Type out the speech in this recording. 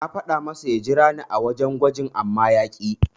Na faɗa masa ya jirani a wajen gwajin amma ya ƙi.